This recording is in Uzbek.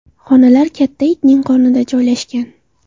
Xonalar katta itning qornida joylashgan.